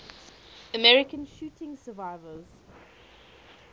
american shooting survivors